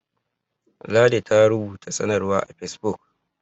ladi ta rubuta sanarwa a fesbuk